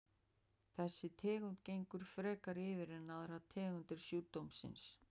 Þessi tegund gengur frekar yfir en aðrar tegundir sjúkdómsins.